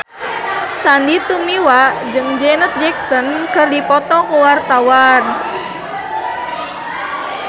Sandy Tumiwa jeung Janet Jackson keur dipoto ku wartawan